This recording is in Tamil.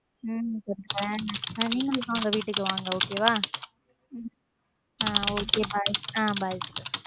உம் நீங்களும் வாங்க வீட்டுக்கு வாங்க okay வா hmm okay bye hmm bye sister